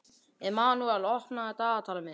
Emanúel, opnaðu dagatalið mitt.